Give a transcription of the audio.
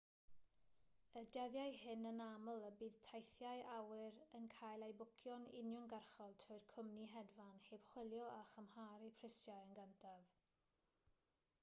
y dyddiau hyn anaml y bydd teithiau awyr yn cael eu bwcio'n uniongyrchol trwy'r cwmni hedfan heb chwilio a chymharu prisiau yn gyntaf